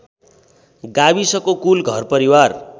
गाविसको कुल घरपरिवार